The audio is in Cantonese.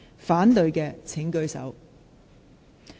反對的請舉手。